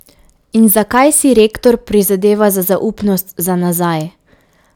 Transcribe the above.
In zakaj si rektor prizadeva za zaupnost za nazaj?